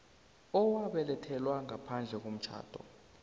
owabelethelwa ngaphandle komtjhado